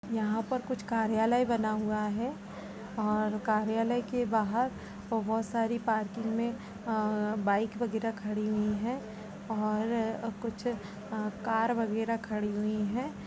यहाँ पर कुछ कार्यालय बना हुआ है और कार्यालय के बाहर बोहोत सारी पार्किंग में अ बाइक वगैरह खड़ी हुई हैं और कुछ अ कार वगैरह खड़ी हुई हैं।